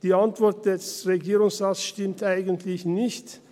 Die Antwort des Regierungsrates stimmt eigentlich nicht.